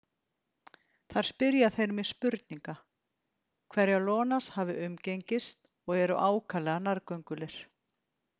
Þar spyrja þeir mig spurninga, hverja Ionas hafi umgengist, og eru ákaflega nærgöngulir.